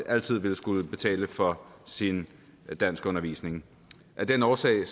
altid vil skulle betale for sin danskundervisning af den årsag